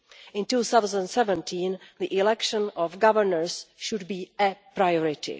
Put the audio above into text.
In 2017 the election of governors should be a priority.